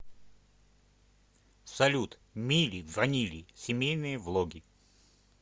салют мили ванили семейные влоги